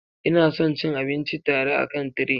Ina son cin abinci tare akan tray.